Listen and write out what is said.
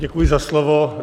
Děkuji za slovo.